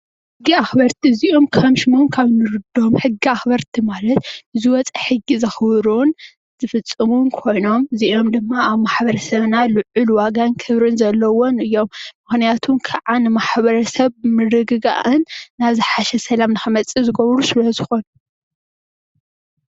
ሕጊ አኽበርቲ እዚኦም ሕጊ አክብርቲ ማለት ዝወፀ ሕጊ ዘኽብሩን ዝፍፅሙን ኮይኖም እዚኦም ድማ አብ ማሕበረሰብና ልዑል ዋጋን ክብሪ ዘለዎም እዮም ምኽንያቱ ከዓ ድማ ን ማሕብርሰብ ምርግጋእን ናብ ዝሓሸ ሰላም ክምፅእ ዝገብሩ ስለዝኾኑ።